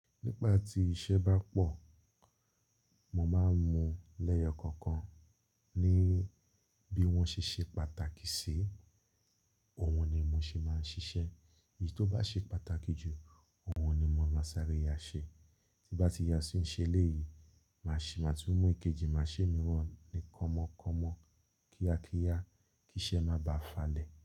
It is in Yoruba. Nígba tí iṣẹ́ bá pọ̀, mo máa ń mu lẹ́yọ̀ kankan ní bí wọ́n ṣe ṣe pàtàkì sí, òun ni mo ṣe máa ń ṣiṣẹ́. Èyí tó bá ṣe pàtàkì jù, òun ni mo máa ń sáré yá ṣe. Tí bá ti yá sí i ṣe léyìí, màá ṣì máa tú mú èkejì, màá ṣe miiran nì kanmọ́kànmọ́ kíákíá kí iṣẹ́ má bà á falẹ̀